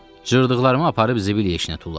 Cırdıqlarımı aparıb zibil yeşiyinə tulladım.